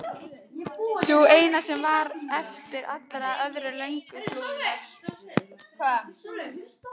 Sú eina sem hér var eftir, allir aðrir löngu flúnir.